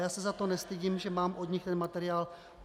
Já se za to nestydím, že mám od nich ten materiál.